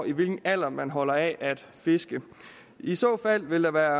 i hvilken alder man holder af at fiske i så fald ville der